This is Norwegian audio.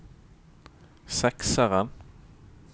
sekseren